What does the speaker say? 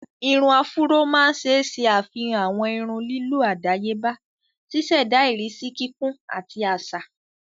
Irun áfúró máa ń ṣe ṣe afihan awọn irun lílọ́ adayeba, ṣiṣẹda irisi kíkún ati aṣa.